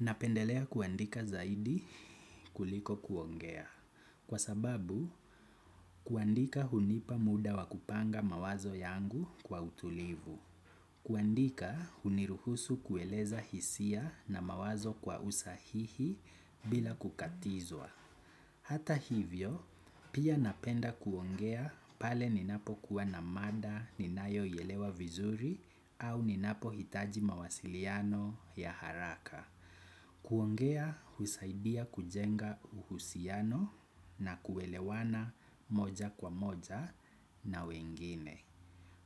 Napendelea kuandika zaidi kuliko kuongea. Kwa sababu, kuandika hunipa muda wa kupanga mawazo yangu kwa utulivu. Kuandika huniruhusu kueleza hisia na mawazo kwa usahihi bila kukatizwa. Hata hivyo, pia napenda kuongea pale ninapo kuwa na mada ninayo ielewa vizuri au ninapo hitaji mawasiliano ya haraka. Kuongea husaidia kujenga uhusiano na kuelewana moja kwa moja na wengine.